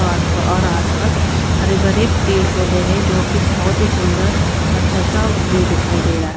और और आसपास हरे भरे पेड़ पौधे हैं जो कि बहुत ही सुंदर अच्छा सा व्यू दिखाई दे रहा है।